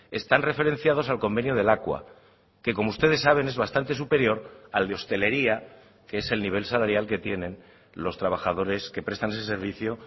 están referenciados al convenio de lakua que como ustedes saben es bastante superior al de hostelería que es el nivel salarial que tienen los trabajadores que prestan ese servicio